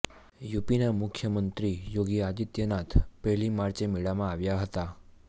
યુપીના મુખ્યમંત્રી યોગી આદિત્યનાથ પહેલી માર્ચે મેળામાં આવ્યા હતા